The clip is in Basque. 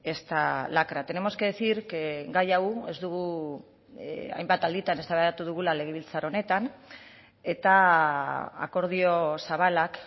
esta lacra tenemos que decir que gai hau ez dugu hainbat alditan eztabaidatu dugula legebiltzar honetan eta akordio zabalak